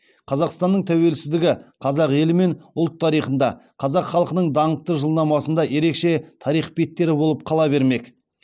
қазақстанның тәуелсіздігі қазақ елі мен ұлт тарихында қазақ халқының даңқты жылнамасында ерекше тарих беттері болып қала бермек